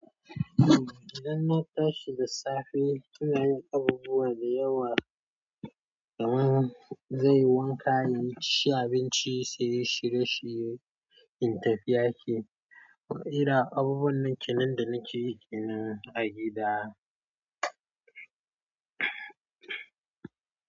Idan na tashi da safe, ina yin abubuwa da yawa kamar zanyi wanka, inci abinci, sai shirye shirye, in tafi aiki. Irin abubuwan nan kenan da nake kinan a gida.